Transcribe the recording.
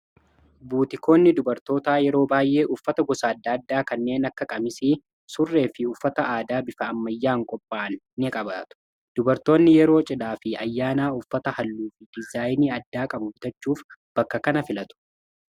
buutikoonni dubartoota yeroo baay'ee uffata gosaadaaddaa kanneen akka qamisii surree fi uffata aadaa bifa'ammayyaan qopha'an in qabaatu dubartoonni yeroo cidhaa fi ayyaanaa uffata halluu fi dizaayinii addaa qabubtachuuf bakka kana filatu